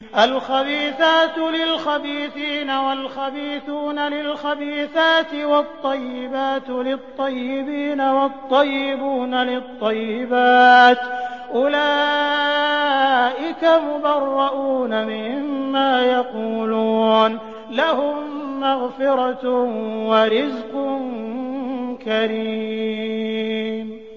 الْخَبِيثَاتُ لِلْخَبِيثِينَ وَالْخَبِيثُونَ لِلْخَبِيثَاتِ ۖ وَالطَّيِّبَاتُ لِلطَّيِّبِينَ وَالطَّيِّبُونَ لِلطَّيِّبَاتِ ۚ أُولَٰئِكَ مُبَرَّءُونَ مِمَّا يَقُولُونَ ۖ لَهُم مَّغْفِرَةٌ وَرِزْقٌ كَرِيمٌ